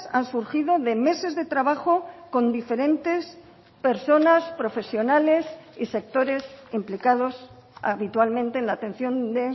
han surgido de meses de trabajo con diferentes personas profesionales y sectores implicados habitualmente en la atención de